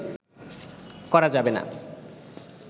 করা যাবে না